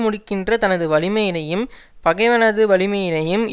முடிக்கின்ற தனது வலிமையினையும் பகைவனது வலிமையினையும்